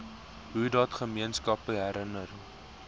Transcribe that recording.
hoedat gemeenskappe herenig